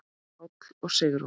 Páll og Sigrún.